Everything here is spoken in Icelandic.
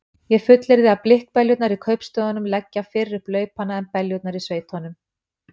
Ég fullyrði að blikkbeljurnar í kaupstöðunum leggja fyrr upp laupana en beljurnar í sveitunum.